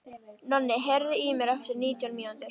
Nonni, heyrðu í mér eftir nítján mínútur.